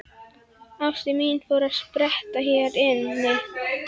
Ástin mín fór að spretta hér inni.